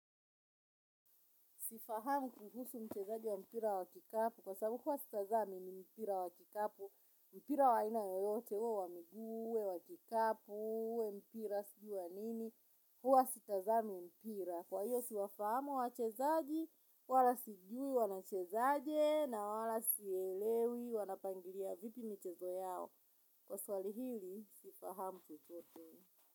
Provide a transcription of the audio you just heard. Sifahamu kuhusu mchezaji wa mpira wa kikapu. Kwa sababu huwa sitazami ni mpira wa kikapu. Mpira wa aina yoyote. Uwe wa miguu uwe wa kikapu. Uwe mpira sijui wa nini. Huwa sitazami mpira. Kwa hiyo siwafahamu wachezaji. Wala sijui wanachezaje na wala sielewi wanapangilia vipi michezo yao. Kwa swali hili, sifahamu chochote.